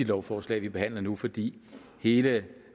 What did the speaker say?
lovforslag vi behandler nu fordi hele